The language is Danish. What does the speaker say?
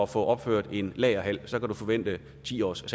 få opført en lagerhal kan du forvente en ti års